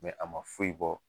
a ma foyi bɔ